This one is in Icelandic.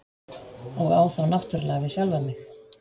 Og á þá náttúrlega við sjálfan mig.